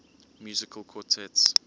musical quartets